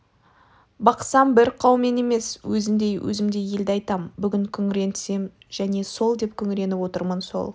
бақсам бір қаумен емес өзіндей өзімдей елді айтам бүгін күңіренсем және сол деп күңіреніп отырмын сол